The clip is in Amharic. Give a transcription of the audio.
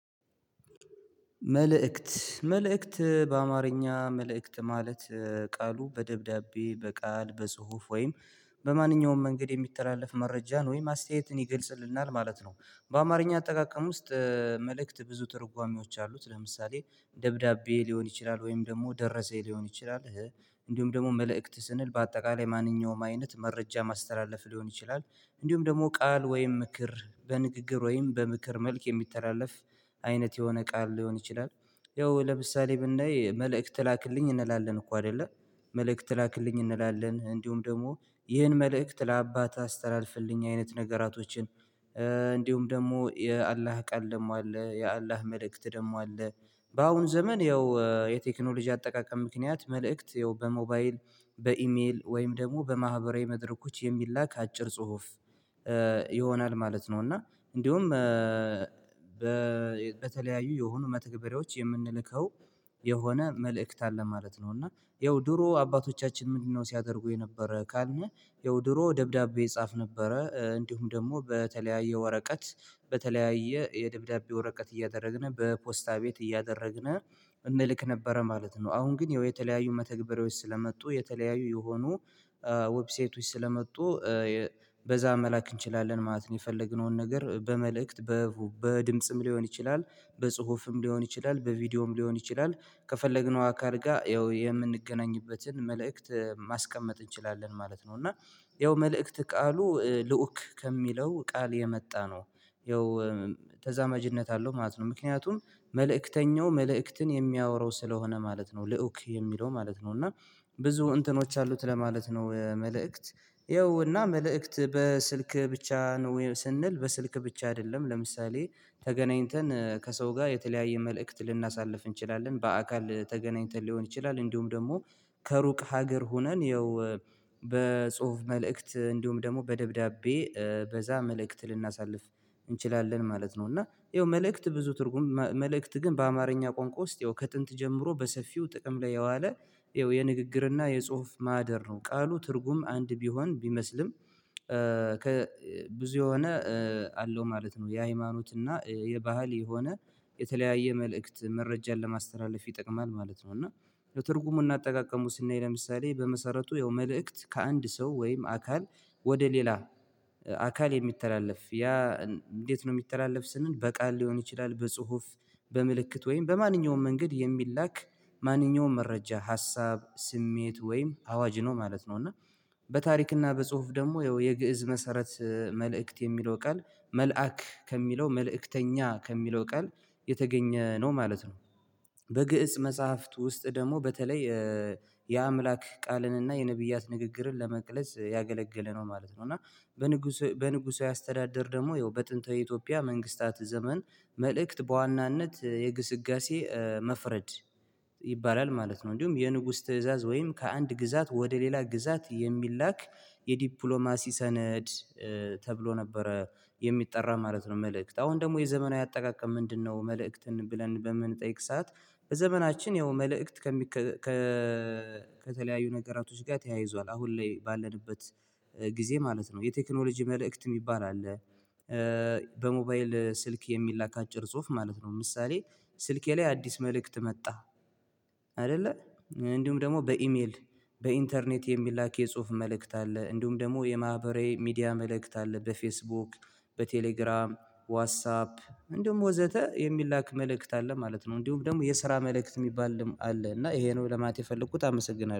መልእክት መልእክት በአማርኛ መልእክት ማለት ቃሉ በደብዳቤ በቃል በጽሁፍ ወይም በማንኛውም መንገድ የሚተላለፍ መረጃ ነው ወይም አስተያየትን ይገልጽልናል ማለት ነው። በአማርኛ አጠቃቀም ውስጥ መልእክት ብዙ ትርጓሜዎች አሉት። ለምሳሌ ደብዳቤ ሊሆን ይችላል ወይም ደግሞ ደረሰኝ ሊሆን ይችላል። እንዲሁም ደግሞ መልእክት ስንል በአጠቃላይ ማንኛውም አይነት መረጃ ማስተላለፍ ሊሆን ይችላል። እንዲሁም ደግሞ ቃል ወይም ምክር በንግግር ወይም በምክር መልክ የሚተላለፍ አይነት የሆነ ቃል ሊሆን ይችላል። ያው ለምሳሌ ብናይ መልእክት ላክልኝ እንላለን እኮ አይደለ። መልእክት ላክልኝ እንላለን እንዲሁም ደግሞ ይህን መልእክት ለአባት አስተላልፍልኝ አይነት ነገራቶችን እንዲሁም ደግሞ የአላህ ቃል ደግሞ አለ የአላህ መልእክት ደግሞ አለ። በአሁኑ ዘመን ያው የቴክኖሎጂ አጠቃቀም ምክንያት መልእክት ይኸው በሞባይል በኢሜል ወይም ደግሞ በማህበራዊ መድረኮች የሚላክ አጭር ጽሁፍ ይሆናል ማለት ነው። እና እንዲሁም በተለያዩ የሆኑ መተግበሬዎች የምንልከው የሆነ መልእክት አለ ማለት ነው። እና ያው ድሮ አባቶቻችን ምንድነው? ሲያደርጉ የነበረ ካልነው ያው ድሮ ደብዳቤ ይጻፍ ነበረ እንዲሁም ደግሞ በተለያየ ወረቀት በተለያየ የደብዳቤ ወረቀት እያደረግን በፖስታ ቤት እያደረግን እንልክ ነበረ ማለት ነው። አሁን ግን የተለያዩ መተግበሪያዎች ስለመጡ የተለያዩ የሆኑ ዌብሳይቶች ስለመጡ በዛ መላክ እንችላለን ማለት ነው። የፈለግነውን ነገር በመልእክት በድምጽም ሊሆን ይችላል በጽሁፍም ሊሆን ይችላል በቪዲዮም ሊሆን ይችላል ከፈለግነው አካል ጋር ያው የምንገናኝበትን መልእክት ማስቀመጥ እንችላለን ማለት ነው። እና ያው መልእክት ቃሉ ልዑክ ከሚለው ቃል የመጣ ነው። ያው ተዛማጅነት አለው ማለት ነው። ምክንያቱም መልእክተኛው መልእክትን የሚያወራው ስለሆነ ማለት ነው ልዑክ የሚለው ማለት ነው እና ብዙ እንትኖች አሉት ለማለት ነው። መልእክት ይኸውና መልእክት በስልክ ብቻ ነው ስንል በስልክ ብቻ አይደለም ለምሳሌ። ተገናኝተን ከሰው ጋር የተለያየ መልእክት ልናሳልፍ እንችላለን በአካል ተገናኝተን ሊሆን ይችላል እንዲሁም ደግሞ ከሩቅ ሀገር ሆነን ይኸው በጽሁፍ መልእክት እንዲሁም ደግሞ በደብዳቤ በዛ መልእክት ልናሳልፍ እንችላለን ማለት ነው። እና ይኸው መልእክት ብዙ ትርጉም መልእክት ግን በአማርኛ ቋንቋ ውስጥ የው ከጥንት ጀምሮ በሰፊው ጥቅም ላይ የዋለ የው የንግግርና የጽሁፍ ማህደር ነው። ቃሉ ትርጉም አንድ ቢሆን ቢመስልም ከብዙ የሆነ አለው ማለት ነው። የሃይማኖት እና የባህል የሆነ የተለያየ መልእክት መረጃን ለማስተላለፍ ይጠቅማል ማለት ነው። እና ለትርጉሙ እናጠቃቀሙ ስናይ ለምሳሌ በመሰረቱ ያው መልእክት ከአንድ ሰው ወይም አካል ወደ ሌላ አካል የሚተላለፍ ያ እንዴት ነው? የሚተላለፍ ስንል በቃል ሊሆን ይችላል በጽሁፍ በምልክት ወይም በማንኛውም መንገድ የሚላክ ማንኛውም መረጃ ሀሳብ ስሜት ወይም አዋጅ ነው ማለት ነው። እና በታሪክና በጽሁፍ ደግሞ ያው የግእዝ መሰረት መልእክት የሚለው ቃል መልአክ ከሚለው መልእክተኛ ከሚለው ቃል የተገኘ ነው ማለት ነው። በግእጽ መጽሐፍት ውስጥ ደግሞ በተለይ የአምላክ ቃልን እና የነብያት ንግግርን ለመቅለጽ ያገለገለ ነው ማለት ነው። እና በንጉሱ በንጉሱ አስተዳደር ደግሞ ያው በጥንተ ኢትዮጵያ መንግስታት ዘመን መልእክት በዋናነት የግስጋሴ መፍረድ ይባላል ማለት ነው። እንዲሁም የንጉስ ትእዛዝ ወይም ከአንድ ግዛት ወደ ሌላ ግዛት የሚላክ የዲፕሎማሲ ሰነድ ተብሎ ነበረ የሚጠራ ማለት ነው። መልእክት አሁን ደግሞ የዘመናዊ አጠቃቀም ምንድነው? መልእክትን ብለን በምንጠይቅ ሰዓት ዘመናችን ያው መልእክት ከተለያዩ ነገራቶች ጋር ተያይዟል አሁን ላይ ባለንበት ጊዜ ማለት ነው። የቴክኖሎጂ መልእክት የሚባል አለ። በሞባይል ስልክ የሚላክ አጭር ጽሁፍ ማለት ነው። ምሳሌ ስልኬ ላይ አዲስ መልእክት መጣ። አይደለ። እንዲሁም ደግሞ በኢሜል በኢንተርኔት የሚላክ የጽሁፍ መልእክት አለ እንዲሁም ደግሞ የማህበራዊ ሚዲያ መልእክት አለ በፌስቡክ በቴሌግራም ዋትሳፕ እንደውም ወዘተ የሚላክ መልእክት አለ ማለት ነው። እንዲሁም ደግሞ የስራ መልእክት የሚባል አለ እና ይሄ ነው ለማት የፈለኩት አመሰግናለሁ